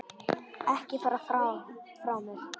Ekki fara frá mér!